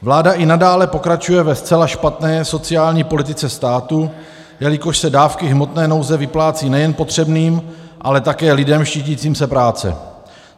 Vláda i nadále pokračuje ve zcela špatné sociální politice státu, jelikož se dávky hmotné nouze vyplácí nejen potřebným, ale také lidem štítícím se práce.